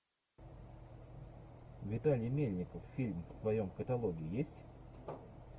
виталий мельников фильм в твоем каталоге есть